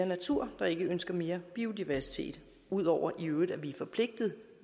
natur der ikke ønsker mere biodiversitet ud over at vi i øvrigt er forpligtet